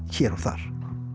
hér og þar